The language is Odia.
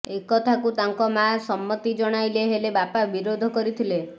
ଏ କଥାକୁ ତାଙ୍କ ମାଆ ସମ୍ମତି ଜଣାଇଲେ ହେଲେ ବାପା ବିରୋଧ କରିଥିଲେ